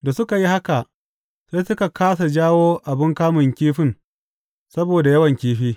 Da suka yi haka, sai suka kāsa jawo abin kamun kifin saboda yawan kifi.